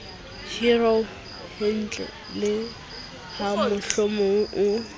horeo yentle le hamohlomong o